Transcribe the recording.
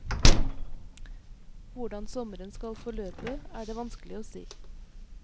Hvordan sommeren skal forløpe, er det vanskelig å si.